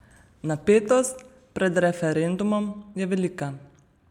Napetost pred referendumom je velika.